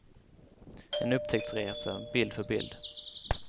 En upptäcktsresa, bild för bild.